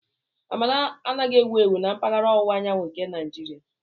Amala anaghị ewu ewu na mpaghara ọwụwa anyanwụ nke Naijiria.